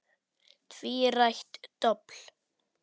Tvírætt dobl.